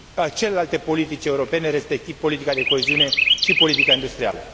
celelalte politici europene, respectiv politica de coeziune și politica industrială.